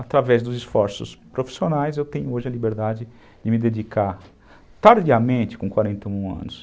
Através dos esforços profissionais, eu tenho hoje a liberdade de me dedicar tardiamente com quarenta e um anos.